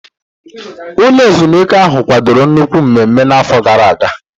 Ụlọ ezumike ahụ kwadoro nnukwu mmemme n'afọ gara aga.